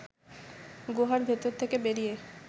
গুহার ভেতর থেকে বেরিয়ে